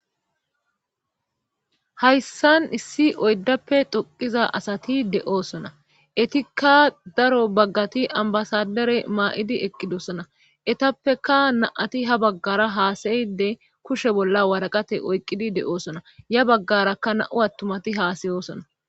hayssan issi oyddappe xoqqiza asati de7oosona etikka daro baggati ambasadere maa7idi eqqidosona etappeka na7ati ha baggara haasayide kushe bolla waraqate oyqqidi de7oosona ya baggarakka na7u attumati haasayosona.